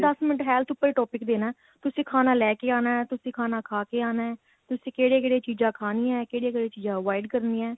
ਦੱਸ minute health ਉਪਰ topic ਦੇਣਾ ਤੁਸੀਂ ਖਾਣਾ ਲੈਕੇ ਆਣਾ ਤੁਸੀਂ ਖਾਣਾ ਖਾ ਕੇ ਆਣਾ ਤੁਸੀਂ ਕਿਹੜੀਆ ਕਿਹੜੀਆ ਚੀਜਾਂ ਖਾਣੀਏ ਕਿਹੜੀਆ ਕਿਹੜੀਆ ਚੀਜਾ avoid ਕਰਨੀਏ